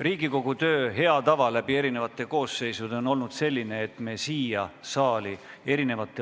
Riigikogu töö hea tava läbi eri koosseisude on olnud selline, et me siia saali